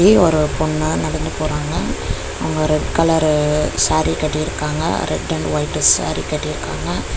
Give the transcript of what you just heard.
இங்கயு ஒரு பொண்ணு நடந்து போறாங்க அவங்க ரெட் கலரு சாரி கட்டிருக்காங்க ரெட் அண்டு ஒயிட் சாரி கட்டிருக்காங்க.